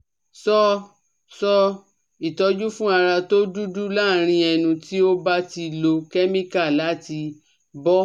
Sọ sọ itoju fun ara to dudu larin enu ti o ba ti lo chemical lati bo